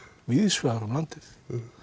víðsvegar um landið